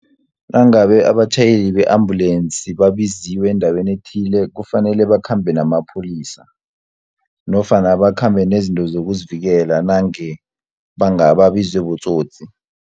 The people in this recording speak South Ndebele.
Nangabe abatjhayeli be-ambulensi babiziwe endaweni ethile, kufanele bakhambe namapholisa, nofana bakhambe nezinto zokuzivikela nange bangaba babizwe botsotsi.